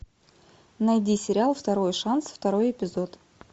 найди сериал второй шанс второй эпизод